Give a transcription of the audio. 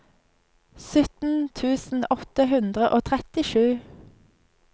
sytten tusen åtte hundre og trettisju